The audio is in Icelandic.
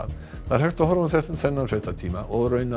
það er hægt að horfa á þennan fréttatíma og